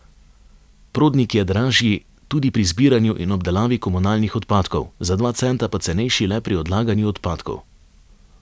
Prodnik je dražji tudi pri zbiranju in obdelavi komunalnih odpadkov, za dva centa pa cenejši le pri odlaganju odpadkov.